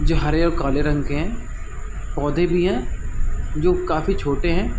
जो हरे और काले रंग के है पौधे भी है जो काफी छोटे है।